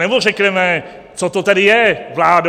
Anebo řekneme, co to tedy je, vládo?